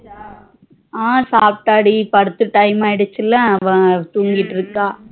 அஹ் சாப்ட்டா டி படுக்க time ஆகிடுசு இல்ல அவ தூங்கிட்டு இருக்கா